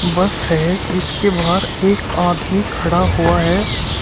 बस है जिसके बाहर एक आदमी खड़ा हुआ है।